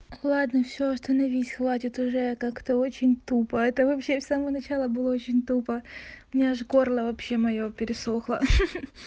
ладно всё остановись хватит уже как-то очень тупо это вообще с самого начала было очень тупо у меня аж горло вообще моё пересохло ха ха